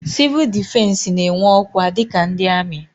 Sivuul difensi n'enwe ọkwa dika ndị amị.